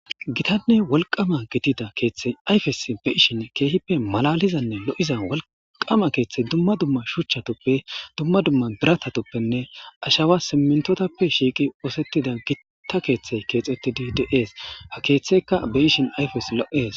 gitanne wolqama gitida keeththey ayfes be ishin keehippe malalizanne lo7iza wolqama keeththey dumma dumma shuchchatoppe dumma dumma biratatoppenne ashawa simmintotappe shiiqi oosettida gitta keeththey keexettidi de7ees ha keeththeyka be ishin ayfes lo7es